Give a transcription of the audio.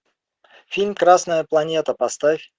фильм красная планета поставь